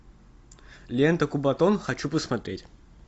лента кубатон хочу посмотреть